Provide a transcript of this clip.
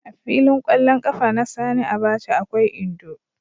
A filin ƙwallon ƙafa na Sani Abacha akwai Indo.